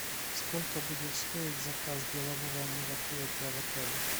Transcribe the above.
сколько будет стоить заказ делового мероприятия в отеле